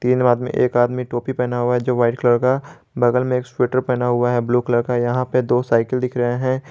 तीनो आदमी एक आदमी टोपी पहना हुआ है जो व्हाइट कलर का बगल में एक स्वेटर पहना हुआ है ब्लू कलर का यह पे दो साइकिल दिख रहे है।